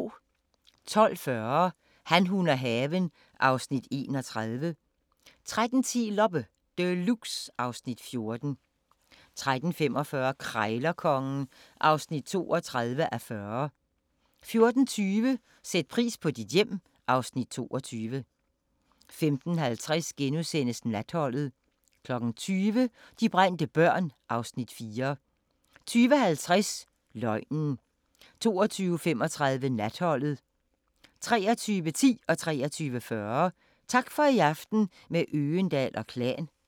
12:40: Han, hun og haven (Afs. 31) 13:10: Loppe Deluxe (Afs. 14) 13:45: Krejlerkongen (32:40) 14:20: Sæt pris på dit hjem (Afs. 22) 15:50: Natholdet * 20:00: De brændte børn (Afs. 4) 20:50: Løgnen 22:35: Natholdet 23:10: Tak for i aften – med Øgendahl & Klan 23:40: Tak for i aften – med Øgendahl & Klan